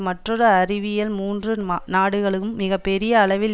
மற்றொரு அறிவிப்பில் மூன்று நாடுகளும் மிக பெரிய அளவில்